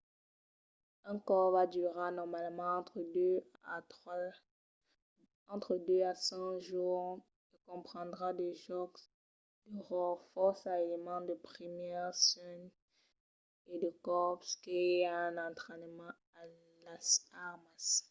un cors va durar normalament entre 2 a 5 jorns e comprendrà de jòcs de ròtle fòrça elements de primièrs suènhs e de còps que i a un entrainament a las armas